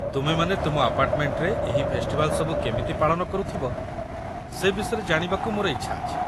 ତୁମେମାନେ ତୁମ ଆପାର୍ଟମେଣ୍ଟରେ ଏହି ଫେଷ୍ଟିଭାଲ୍ ସବୁ କେମିତି ପାଳନ କରୁଥିବ ସେ ବିଷୟରେ ଜାଣିବାକୁ ମୋର ଇଚ୍ଛା ଅଛି ।